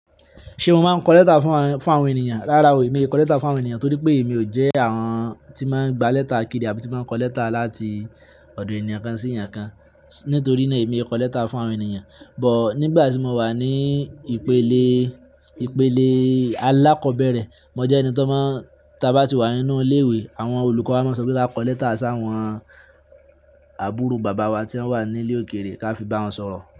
Ṣé o máa ń kọ lẹ́tà fún àwọn ènìyàn? Rárá o, èmi ì ko lẹ́tà fún àwọn ènìyàn torí pé èmi ò jẹ́ àwọn tí máa ń gba lẹ́tà kiri àbí tí máa ń kọ lẹ́tà láti ọ̀dọ̀ ènìyàn kan sí ènìyàn kan. Nítorí náà èmi kò lẹ́tà fún àwọn ènìyàn. But nígbà tí mo wà ní ìpele alákọ̀bẹ́rẹ̀, mo jẹ́ ẹni tó máa ń, tí a bá ti wà nínú ilé ìwé, àwọn olùkọ́ wa máa ń sọ pé kí á kọ lẹ́tà s'àwọn àbúrò bàbá wa tí wọ́n wà nílè òkèèrè ká fi bá wọn sọ̀rọ̀